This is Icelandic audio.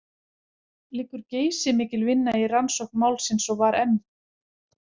Liggur geysimikil vinna í rannsókn málsins, og var m.